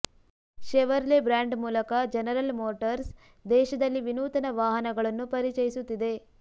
Chevrolet brand ಮೂಲಕ General Motors ದೇಶದಲ್ಲಿ ವಿನೂತನ ವಾಹನಗಳನ್ನು ಪರಿಚಯಿಸುತ್ತಿದೆ